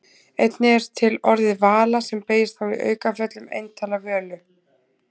einnig er til orðið vala sem beygist þá í aukaföllum eintala völu